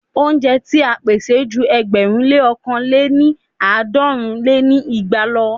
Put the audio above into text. Óúnjẹ ti à ń pèsè ju ẹgbẹ̀rún lé ọ̀kan lé ní àádọ́rùn lé ní igba lọ.